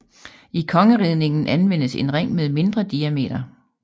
I kongeridningen anvendes en ring med mindre diameter